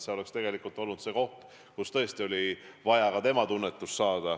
See oleks tegelikult olnud see koht, kus me tõesti oleksime kuulnud ka tema tunnetust.